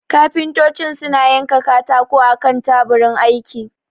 kafintocin suna yanka katako akan taburin aiki